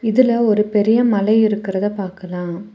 இதுல ஒரு பெரிய மலை இருக்கறத பாக்கலா.